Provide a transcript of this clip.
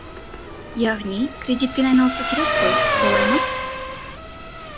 яғни кредитпен айналысу керек қой солай ма